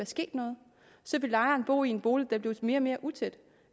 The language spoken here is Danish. sket noget så ville lejeren bo i en bolig der blev mere og mere utæt